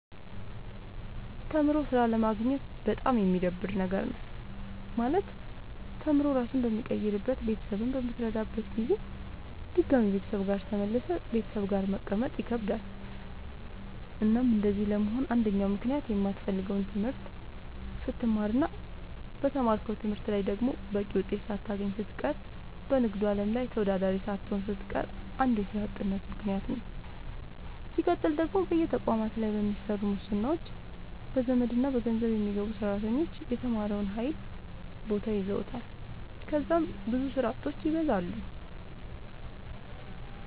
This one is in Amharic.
ተምሮ ስራ አለማግኘት በጣም የሚደብር ነገር ነው። ማለት ተምሮ ራስህን በምትቀይርበት ቤተሰብህን በምትረዳበት ጊዜ ድጋሚ ቤተሰብ ጋር ተመልሰህ ቤተሰብ ጋር መቀመጥ ይከብዳል። እናም እንደዚህ ለመሆን አንደኛው ምክንያት የማትፈልገውን ትምህርት ስትማር እና በተማርከው ትምህርት ላይ ደግሞ በቂ ውጤት ሳታገኝ ስትቀር በንግዱ አለም ላይ ተወዳዳሪ ሳትሆን ስትቀር አንዱ የስራ አጥነት ምከንያት ነዉ። ስቀጥል ደግሞ በየተቋማቱ ላይ በሚሰሩ ሙስናዎች፣ በዘመድና በገንዘብ የሚገቡ ሰራተኞች የተማረውን ኃይል ቦታ ይዘዋል ከዛም ብዙ ስራ አጦች ይበዛሉ።